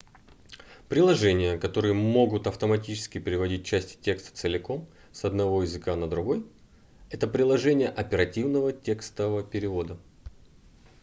приложения которые могут автоматически переводить части текста целиком с одного языка на другой это приложения оперативного текстового перевода